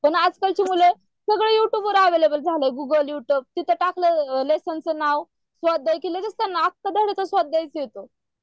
पण आजकाल ची मुले सगळं युट्युब वर अव्हेलेबल झाले गूगल युट्युब तिथं टाकलेय लेसन चा नाव स्वाध्याय स्वाध्याय येतो